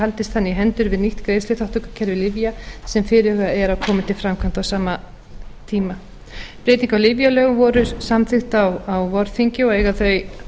haldist þannig í hendur við nýtt greiðsluþátttökukerfi lyfja sem fyrirhugað er að komi til framkvæmda á sama tíma breyting á lyfjalögum voru samþykktar á vorþingi og eiga þau